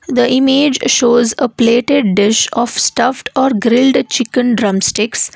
The image shows a plated dish of stuffed or grilled chicken drumsticks.